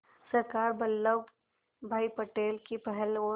सरदार वल्लभ भाई पटेल की पहल और